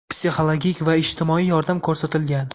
psixologik va ijtimoiy yordam ko‘rsatilgan.